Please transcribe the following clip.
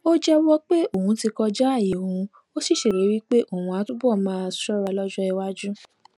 ó jéwó pé òun ti kọjá àyè òun ó sì ṣèlérí pé òun á túbò máa ṣóra lójó iwájú